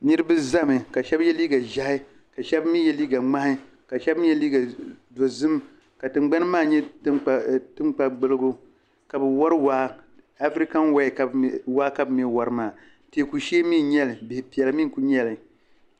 Niribi ʒemi ka shɛb ye liiga ʒehi ka shɛb ye liiga ŋmahi ka shɛb mi ye liiga dozim ka tingbani maa nye tankpagbuligu ka bɛ wari waa afirikan waa ka bi mi wari maa teeku shee min nyeli bihipiɛla mi n kuli nyeli.